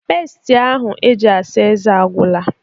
Peest ahụ eji asa ezé agwụla